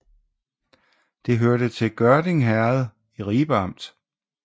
Det hørte til Gørding Herred i Ribe Amt